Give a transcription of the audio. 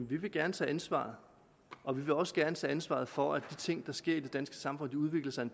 vi vil gerne tage ansvar og vi vil også gerne tage ansvaret for at de ting der sker i det danske samfund udvikler sig i